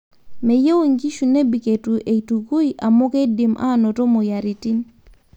meyieu inkishu nebik eitu eitukui amu keidim anoto moyiaritini